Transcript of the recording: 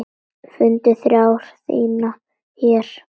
Fundið þrá þína hér.